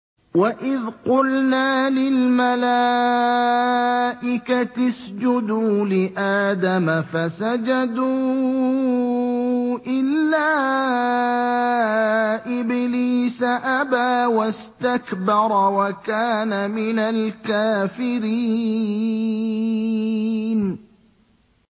وَإِذْ قُلْنَا لِلْمَلَائِكَةِ اسْجُدُوا لِآدَمَ فَسَجَدُوا إِلَّا إِبْلِيسَ أَبَىٰ وَاسْتَكْبَرَ وَكَانَ مِنَ الْكَافِرِينَ